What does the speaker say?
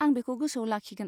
आं बेखौ गोसोआव लाखिगोन।